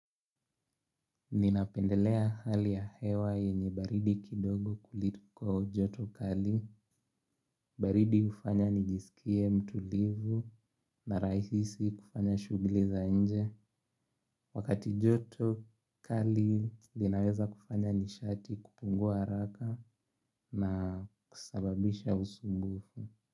Ninapendelea hali ya hewa yenye baridi kidogo kuliko joto kali. Baridi hufanya nijisikie mtulivu na rahisi kufanya shughuli za nje. Wakati joto kali linaweza kufanya nishati kupungua haraka na kusababisha usumbufu.